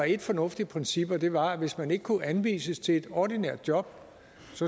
ét fornuftigt princip og det var at hvis man ikke kunne anvises til et ordinært job